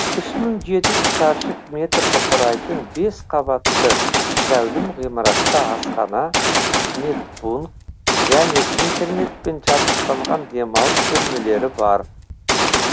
үш мың жеті жүз шаршы метрді құрайтын бес қабатты зәулім ғимаратта асхана медпункт және интернетпен жабдықталған демалыс бөлмелері бар